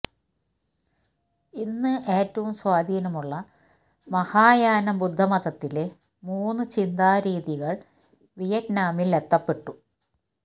ഇന്ന് ഏറ്റവും സ്വാധീനമുള്ള മഹായാന ബുദ്ധമതത്തിലെ മൂന്ന് ചിന്താരീതികൾ വിയറ്റ്നാമിൽ എത്തപ്പെട്ടു